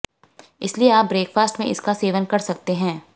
इसलिए आप ब्रेकफास्ट में इसका सेवन कर सकते है